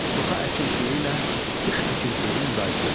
Toxa əkinçiliyi ilə xış əkinçiliyini müqayisə edin.